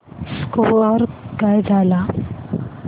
score काय झाला